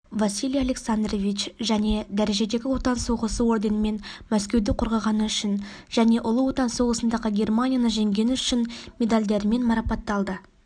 василий александрович және дәрежедегі отан соғысы орденімен мәскеуді қорғағаны үшін жж ұлы отан соғысындағы германияны жеңген үшін медальдерімен марапатталды